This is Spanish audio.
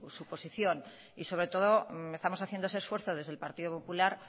su posición y sobre todo estamos haciendo ese esfuerzo desde el partido popular